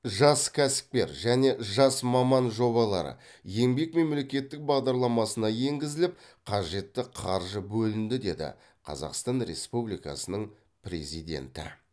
жас кәсіпкер және жас маман жобалары еңбек мемлекеттік бағдарламасына енгізіліп қажетті қаржы бөлінді деді қазақстан республикасының президенті